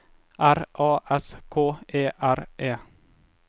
R A S K E R E